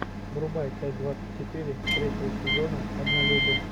врубай часть двадцать четыре третьего сезона однолюбы